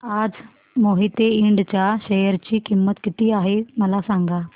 आज मोहिते इंड च्या शेअर ची किंमत किती आहे मला सांगा